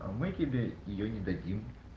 мы тебе её не дадим